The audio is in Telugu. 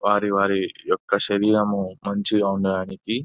వారి వారి యొక్క శరీరము మంచిగా ఉండటానికి --